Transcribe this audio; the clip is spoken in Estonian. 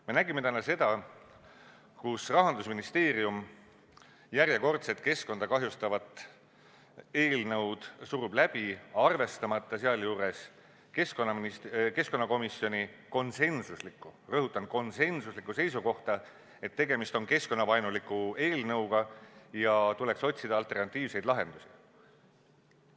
Me nägime täna, kuidas Rahandusministeerium järjekordset keskkonda kahjustavat eelnõu läbi surub, arvestamata sealjuures keskkonnakomisjoni konsensuslikku – rõhutan, konsensuslikku – seisukohta, et tegemist on keskkonnavaenuliku eelnõuga ja tuleks otsida alternatiivseid lahendusi.